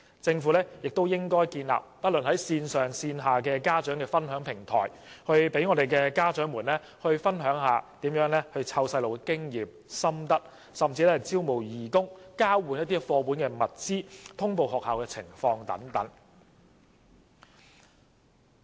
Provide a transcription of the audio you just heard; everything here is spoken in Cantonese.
政府也應建立不管是線上還是線下的家長分享平台，讓家長分享育兒經驗和心得，甚至招募義工、交換課本和其他物資，通報學校的情況等。